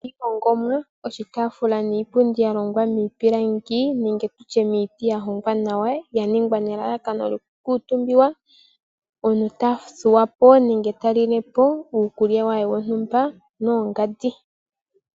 Iihongomwa. Oshitaafula niipundi yalongwa miipilangi nenge miiti yahongwa nawa ya ningwa nelalakano lyoku kuutumba omuntu ta thuwapo ye tali iikulya ye yontumba noyongandi.